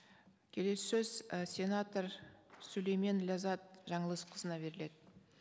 келесі сөз і сенатор сүлеймен ләззат жаңылысқызына беріледі